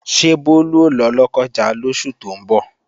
Ṣé Bólú ó lọ Lọ́kọ́ja lóṣù tó ń bọ̀?